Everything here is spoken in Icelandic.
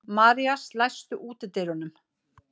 Marías, læstu útidyrunum.